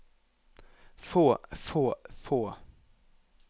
få få få